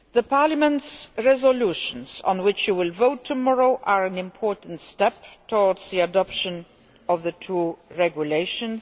Parliament's resolutions on which you will vote tomorrow are an important step towards the adoption of the two regulations.